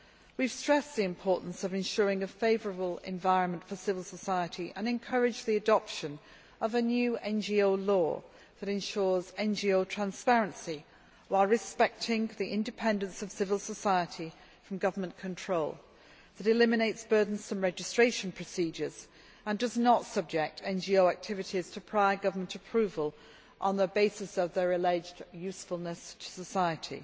We have stressed the importance of ensuring a favourable environment for civil society and encouraged the adoption of a new NGO law that ensures NGO transparency while respecting the independence of civil society from government control, that eliminates burdensome registration procedures, and does not subject NGO activities to prior government approval on the basis of their alleged usefulness to society',